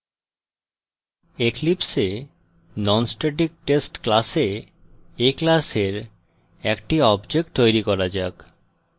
eclipse a nonstatictest class a class একটি object তৈরি করা যাক